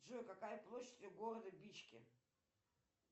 джой какая площадь у города бичке